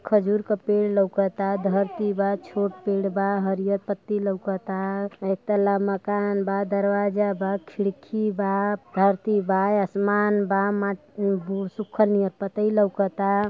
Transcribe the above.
खजूर क पेड़ लउकता धरती बा छोट पेड़ बा हरिय पत्ती लौकता इक तळा मकान बा दरवाजा बा खिड़की बा धरती बा आसमान बा मा सुखल नियन पतयी लउकता --